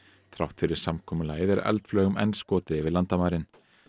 þrátt fyrir samkomulagið er eldflaugum enn skotið yfir landamærin